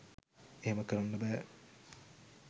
එහෙම කරන්න බැහැ